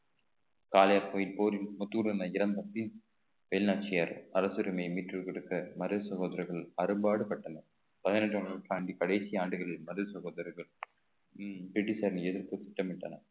போரில் முத்து இறந்த பின் வேலு நாச்சியார் அரசுரிமையை மீட்டுக் கொடுத்த மருது சகோதரர்கள் அரும்பாடு பட்டனர் பதினெட்டாம் நூற்றாண்டின் கடைசி ஆண்டுகளில் மருது சகோதரர்கள் உம் பிரிட்டிஷாரை எதிர்த்து திட்டமிட்டனர்